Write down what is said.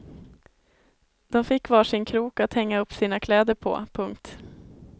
De fick var sin krok att hänga upp sina kläder på. punkt